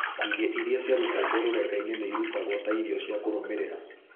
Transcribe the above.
Ngigĩ iria ciarutĩtwo rũrenda-inĩ nĩ irutagwo ta irio cia kũrũmĩrĩra.